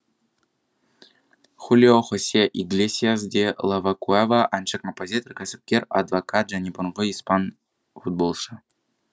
хулио хосе иглесиас де ла куэва әнші композитор кәсіпкер адвокат және бұрынғы испан футболшы